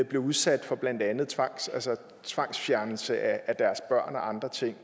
blev udsat for blandt andet tvangsfjernelse af deres børn og andre ting